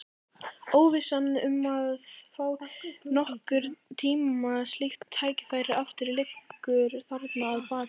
Óvissan um að fá nokkurn tíma slíkt tækifæri aftur liggur þarna að baki.